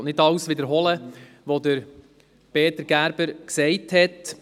Ich will nicht alles wiederholen, was Peter Gerber gesagt hat.